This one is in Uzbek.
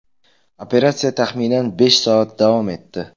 Operatsiya taxminan besh soat davom etdi.